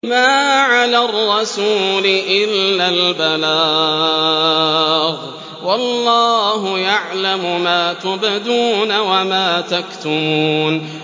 مَّا عَلَى الرَّسُولِ إِلَّا الْبَلَاغُ ۗ وَاللَّهُ يَعْلَمُ مَا تُبْدُونَ وَمَا تَكْتُمُونَ